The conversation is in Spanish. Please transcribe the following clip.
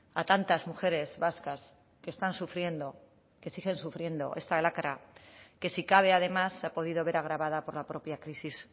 a tantas mujeres vascas que están sufriendo que siguen sufriendo está lacra que si cabe además se ha podido ver agravada por la propia crisis